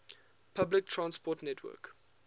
public transport network